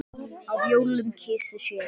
á jólum kysi sér.